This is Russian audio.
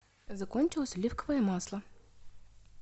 закончилось оливковое масло